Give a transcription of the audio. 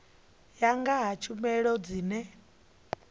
ya nga ha tshumelo dzine